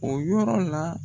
O yɔrɔ la.